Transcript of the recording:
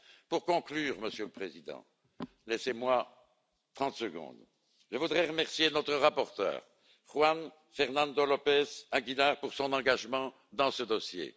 Pour conclure Monsieur le Président, laissez moi 30 secondes je voudrais remercier notre rapporteur, Juan Fernando López Aguilar, pour son engagement dans ce dossier.